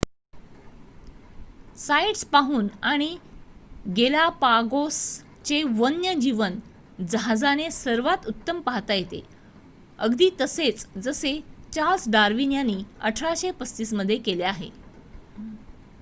sites पाहून आणि Galapagos चे वन्य जीवन जहाजाने सर्वात उत्तम पाहता येते अगदी तसेच जसे चार्ल्स डार्विन यांनी 1835 मध्ये केले